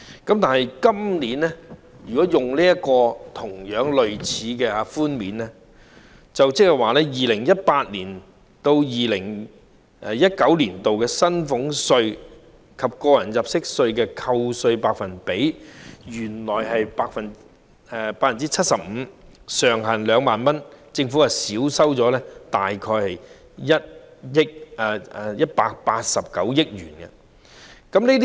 相對於今年，稅務寬免措施類似，原本是扣減 2018-2019 課稅年度的薪俸稅、個人入息課稅及利得稅的 75%， 上限為2萬元，政府因此會少收大概189億元稅款。